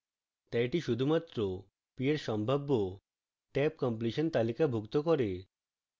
tab এটি শুধুমাত্র p এর সম্ভাব্য tabcompletion তালিকাভুক্ত করে